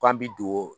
K'an bi don